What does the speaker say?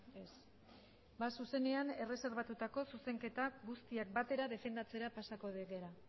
ez ba zuzenean erreserbatutako zuzenketak guztiak batera defendatzera pasako gera